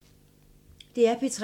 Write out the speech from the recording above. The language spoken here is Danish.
DR P3